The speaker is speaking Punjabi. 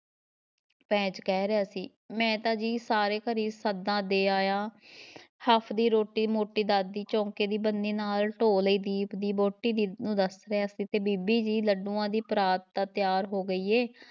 ਪੈਂਚ ਕਹਿ ਰਿਹਾ ਸੀ, ਮੈਂ ਤਾਂ ਜੀ ਸਾਰੇ ਘਰੀਂ ਸੱਦਾ ਦੇ ਆਇਆ ਹਫ਼ਦੀ ਰੋਟੀ ਮੋਟੀ ਦਾਦੀ, ਚੌਂਕੇ ਦੀ ਬੰਨੀ ਨਾਲ਼ ਢੋਅ ਲਾਈ ਦੀਪ ਦੀ ਵਹੁਟੀ ਦੀ ਨੂੰ ਦੱਸ ਰਿਹਾ ਸੀ ਤੇ ਬੀਬੀ ਜੀ ਲੱਡੂਆਂ ਦੀ ਪਰਾਤ ਤਾਂ ਤਿਆਰ ਹੋ ਗਈ ਹੈ,